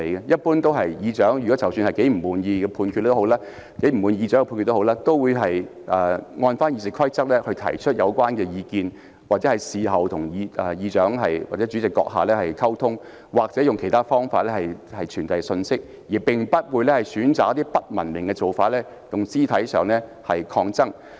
一般來說，不管他們多麼不滿意主席的裁決，亦會按照《議事規則》提出意見，或事後與主席閣下溝通，又或透過其他渠道傳遞信息，而不會選擇一些不文明的做法，進行肢體抗爭。